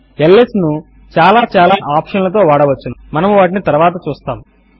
ల్స్ ను చాలా చాలా ఆప్షన్ లతో వాడవచ్చును మనము వాటిని తరువాత చూస్తాము